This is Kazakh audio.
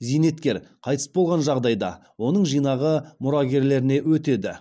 зейнеткер қайтыс болған жағдайда оның жинағы мұрагерлеріне өтеді